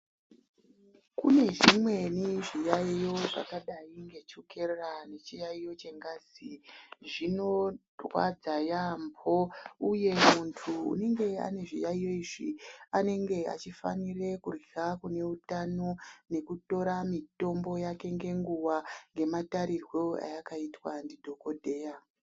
Kune zvimweni zviyaiyo zvakadai ngechukera nechiyaiyo chengazi, zvinorwadza yaamho, uye muntu anenge ane zviyaiyo izvi anenge achifanira kurya kune utano nekutora mitombo yake ngenguwa ngematarirwo ayakaitwa ndidhogodheya.